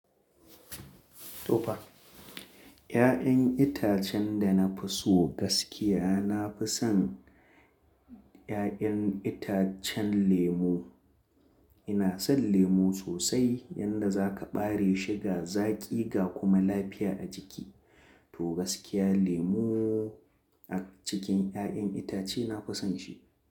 Tofa! 'Ya'yan itacen da na fi so gaskiya, na fi son 'ya'yan itacen lemu. Ina son lemu sosai, yanda zaka ɓare shi ga zaƙi ga kuma lafiya a jiki. To gaskiya lemu a cikin 'ya'yan itace nafi son shi.